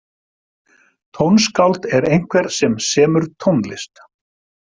Tónskáld er einhver sem semur tónlist.